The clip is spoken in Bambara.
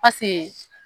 pase